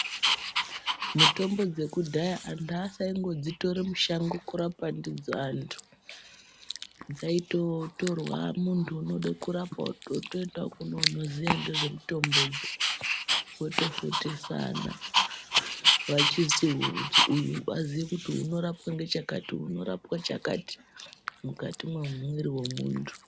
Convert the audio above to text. Mutombo dzekudhaya anthu asaingodzitore mushango kurapa ndidzo anthu, dzaitotorwa munthu unode kurapwa otoenda kune unoziya ngezvemutombodzo votofundisana kuti uyu unorapwa ngechakati uyu unorapwa chakati mukati memwiri wemuntu.